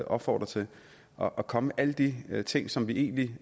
opfordrer til og komme med alle de ting som vi vi